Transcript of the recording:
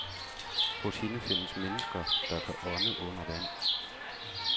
Hos hende findes mennesker, der kan ånde under vand.